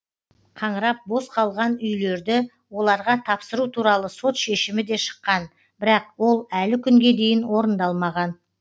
қаңырап бос қалған үйлерді оларға тапсыру туралы сот шешімі де шыққан бірақ ол әлі күнге дейін орындалмаған